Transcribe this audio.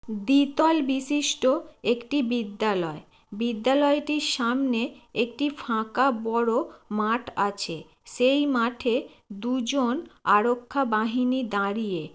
দ্বিতল বিশিষ্ট একটি বিদ্যালয়। বিদ্যালয়টির সামনে একটি ফাঁকা বড়ো মাঠ আছে। সেই মাঠে দুজন আরক্ষা বাহিনী দাঁড়িয়ে।